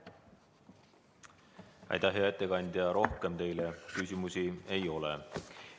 Aitäh, hea ettekandja, rohkem teile küsimusi ei ole.